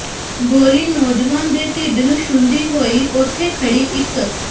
ਗੋਲੀ ਨੌਜਵਾਨ ਦੇ ਿਢੱਡ ਨੂੰ ਛੂੰਹਦੀ ਹੋਈ ਉੱਥੇ ਖੜ੍ਹੀ ਇਕ